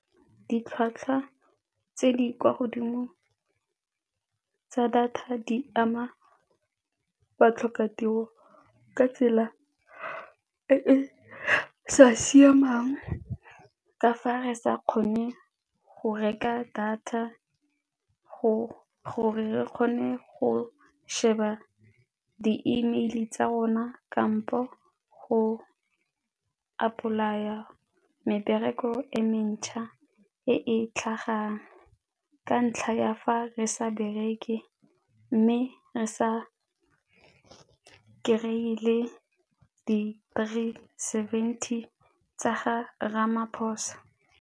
Ditlhwatlhwa tse di kwa godimo tsa data di ama batlhokatiro ka tsela e e sa siamang ka fa re sa kgone go reka data gore re kgone go sheba di-email-e tsa rona kampo go apply-ela mebereko e mentšha e e tlhagang ka ntlha ya fa re sa bereke mme re sa kry-e le di-three seventy tsa ga Ramaphosa.